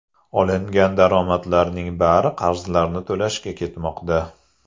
Olingan daromadlarning bari qarzlarni to‘lashga ketmoqda.